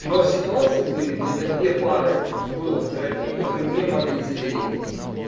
но ситуации были где у меня две пары было в терапии которые не могли забеременеть